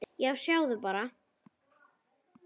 Já, sjáðu bara!